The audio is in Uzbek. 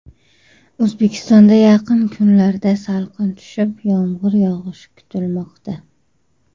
O‘zbekistonda yaqin kunlarda salqin tushib, yomg‘ir yog‘ishi kutilmoqda.